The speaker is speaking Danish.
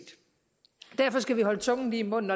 derfor skal vi holde tungen lige i munden